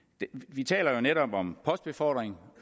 vi taler jo netop om postbefordring